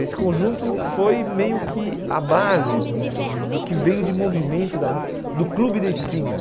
Esse conjunto foi meio que a base do que veio de movimento da mú do Clube da Esquina.